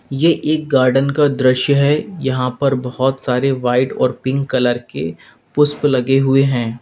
ये एक गार्डन का दृश्य है यहां पर बहुत सारे व्हाइट और पिंक कलर के पुष्प लगे हुए हैं।